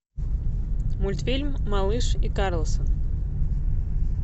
мультфильм малыш и карлсон